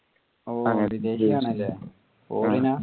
ഓ വിദേശി ആണല്ലേ? foreign ആ?